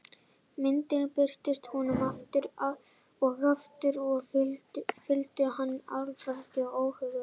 Myndirnar birtust honum aftur og aftur og fylltu hann hálfgerðum óhug.